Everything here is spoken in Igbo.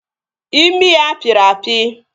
Imi ya pịrị apị